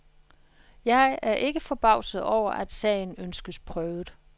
Jeg er ikke forbavset over, at sagen ønskes prøvet.